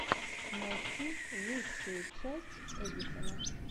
найти лучшую часть эдисона